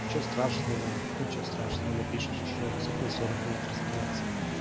ничего страшного ничего страшного напишешь ещё раз это не сорок минут распинаться